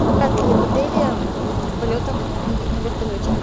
в отеле полетам на вертолете